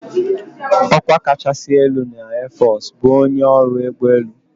"Ọkwa kachasị ala na airforce bụ ""onye ọrụ ụgbọelu"""